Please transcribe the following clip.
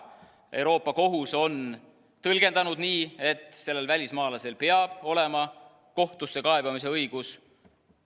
Euroopa Kohus on tõlgendanud nii, et välismaalasel peab olema kohtusse kaebamise õigus.